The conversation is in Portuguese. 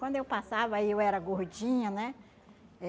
Quando eu passava e eu era gordinha, né?